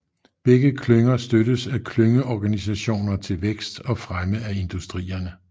Begge klynger støttes af klyngeorganisationer til vækst og fremme af industrierne